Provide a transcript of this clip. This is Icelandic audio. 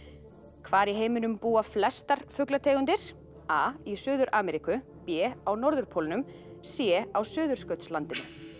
hvar í heiminum búa flestar fuglategundir a í Suður Ameríku b á norðurpólnum c á Suðurskautslandinu